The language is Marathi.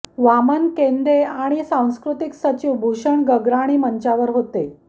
वामन केंदे आणि सांस्कृतिक सचिव भूषण गगराणी मंचावर होते